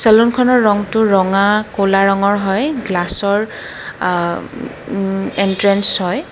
চেলুনখনৰ ৰংটো ৰঙা ক'লা ৰঙৰ হয় গ্লাছৰ আ উম্ এণ্ট্ৰেন্স হয়।